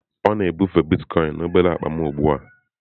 Ọ na-ebufe Bitkoinsị na obere akpa m ugbu a.